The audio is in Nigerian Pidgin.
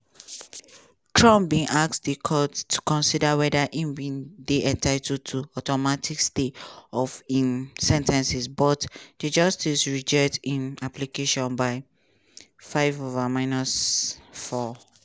trump bin ask di court to consider weda im dey entitled to automatic stay of im sen ten cing but di justices reject im application by 5-4.